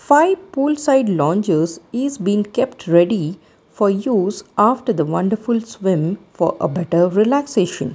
Five pool side lounges is been kept ready for use after the wonderful swim for a better relaxation.